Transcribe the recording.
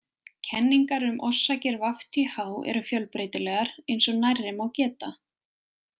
Kenningar um orsakir VTH eru fjölbreytilegar, eins og nærri má geta.